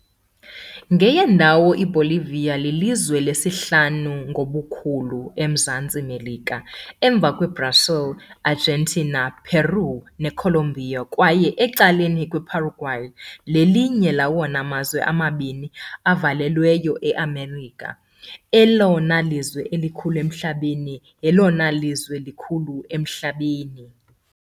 Nge- yendawo, iBolivia lilizwe lesihlanu ngobukhulu eMzantsi Melika, emva kweBrazil, iArgentina, iPeru, neColombia, kwaye ecaleni kweParaguay, lelinye lawona mazwe mabini avalelweyo eMelika, elona lizwe likhulu emhlabeni, elona lizwe likhulu emhlabeni.